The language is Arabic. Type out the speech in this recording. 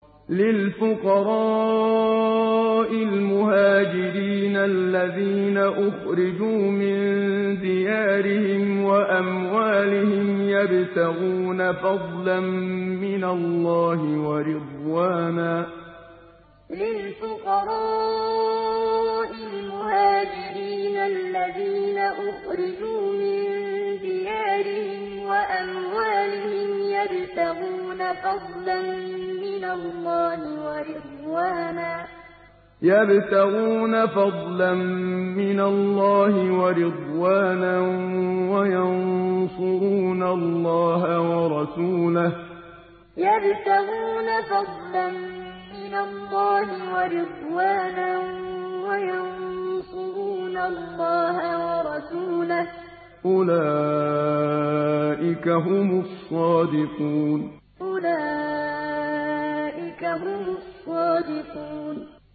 لِلْفُقَرَاءِ الْمُهَاجِرِينَ الَّذِينَ أُخْرِجُوا مِن دِيَارِهِمْ وَأَمْوَالِهِمْ يَبْتَغُونَ فَضْلًا مِّنَ اللَّهِ وَرِضْوَانًا وَيَنصُرُونَ اللَّهَ وَرَسُولَهُ ۚ أُولَٰئِكَ هُمُ الصَّادِقُونَ لِلْفُقَرَاءِ الْمُهَاجِرِينَ الَّذِينَ أُخْرِجُوا مِن دِيَارِهِمْ وَأَمْوَالِهِمْ يَبْتَغُونَ فَضْلًا مِّنَ اللَّهِ وَرِضْوَانًا وَيَنصُرُونَ اللَّهَ وَرَسُولَهُ ۚ أُولَٰئِكَ هُمُ الصَّادِقُونَ